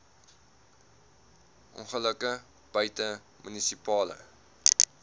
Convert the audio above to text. ongelukke buite munisipale